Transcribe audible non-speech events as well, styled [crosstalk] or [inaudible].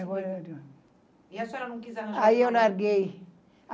[unintelligible] E a senhora não quis arranjar... Aí eu larguei.